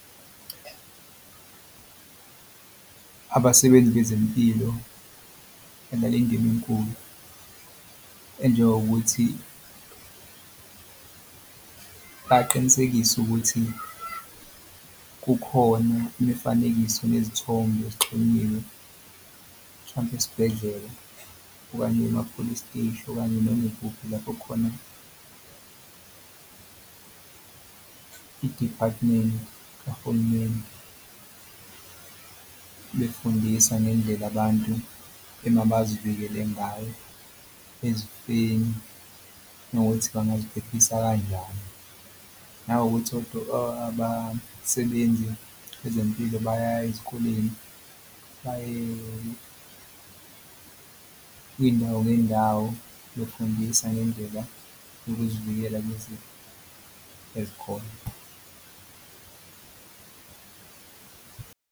Abasebenzi bezempilo enkulu enjengokuthi baqinisekise ukuthi kukhona imifanekiso nezithombe ezixhunyiwe mhlampe esibhedlela okanye ema-police steshi okanye noma ikuphi lapho khona i-department kahulumeni. Befundisa ngendlela abantu ema bazivikele ngayo ezifeni nokuthi bangaziphephisa kanjani nanokuthi abasebenzi bezempilo bayaya ezikoleni baye ngey'ndawo ngey'ndawo befundisa ngendlela ukuzivikela lezi ezikhona.